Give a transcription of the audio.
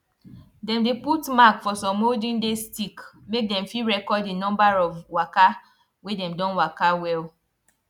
dem dey put mark for some olden days stick make dem fit record d number of waka wey dem don waka well